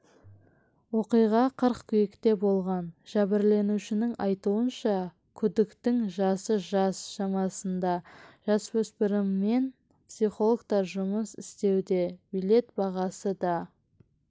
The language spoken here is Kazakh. оқиға қыркүйекте болған жәбірленушінің айтуынша күдіктінің жасы жас шамасында жасөспіріммен психологтар жұмыс істеуде билет бағасы да